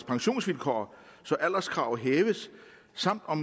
pensionsvilkår så alderskravet hæves samt